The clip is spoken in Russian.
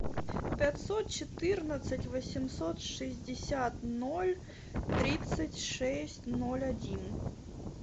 пятьсот четырнадцать восемьсот шестьдесят ноль тридцать шесть ноль один